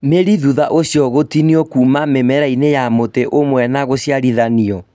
mĩri thutha ũcio gũtinio kuuma mĩmera-inĩ ya mũtĩ ũmwe na gũciarithanio